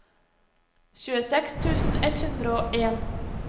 tjueseks tusen ett hundre og en